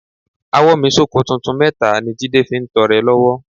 Àwọ́nmi sóko tuntun mẹ́ta ni Jídé fi ń tọrẹ lọ́wọ́